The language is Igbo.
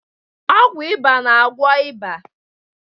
Ọgwụ ịba na-agwọ ịba.